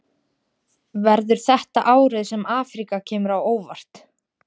Verður þetta árið sem Afríka kemur á óvart?